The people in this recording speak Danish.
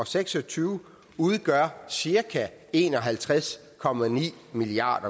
seks og tyve udgør cirka en og halvtreds milliard